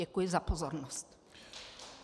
Děkuji za pozornost.